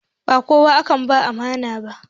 Ba kowa ake ba amana ba.